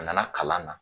A nana kalan na